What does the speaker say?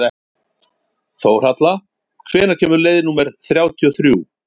Þórhalla, hvenær kemur leið númer þrjátíu og þrjú?